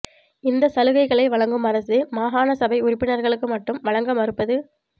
இந்த சலுகைளை வழங்கும் அரசு மாகாணசபை உறுப்பி னர்களுக்கு மட்டும் வழங்க மறுப்பது